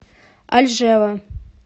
альжева